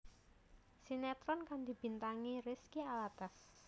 Sinetron kang dibintangi Rizky Alatas